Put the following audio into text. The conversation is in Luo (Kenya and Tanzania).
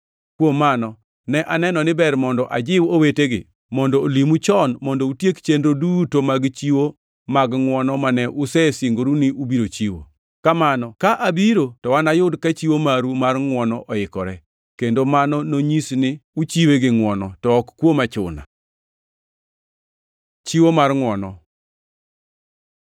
Kuom mano, ne aneno ni ber mondo ajiw owetegi mondo olimu chon mondo utiek chenro duto mag chiwo mag ngʼwono mane usesingoru ni ubiro chiwo. Kamano, ka abiro to anayud ka chiwo maru mar ngʼwono oikore, kendo mano nonyis ni uchiwe gi ngʼwono, to ok kuom achuna. Chiwo mar ngʼwono